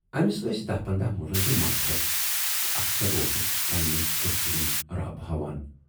ٲمِس ٲسۍ دٔہ پنداہ مُلٲزِم ماتحت تہٕ اکثر اوسُکھ پننہِ کُرسی ہُند رعب ہاوان۔